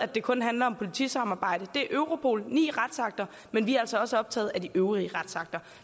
det kun handler om politisamarbejde det er europol ni retsakter men vi er altså også optaget af de øvrige retsakter